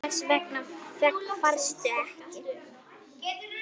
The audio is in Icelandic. Hvers vegna varstu ekki kyrr?